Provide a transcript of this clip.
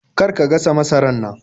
Kar ka gasa masarar nan!